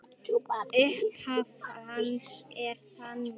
Upphaf hans er þannig